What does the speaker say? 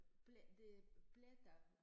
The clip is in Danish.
Pletter pletter